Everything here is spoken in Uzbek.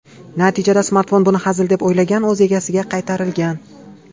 Natijada smartfon buni hazil deb o‘ylagan o‘z egasiga qaytarilgan.